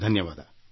ಧನ್ಯವಾದ